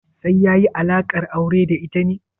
Sani ya yi alaƙar aure da ita ne?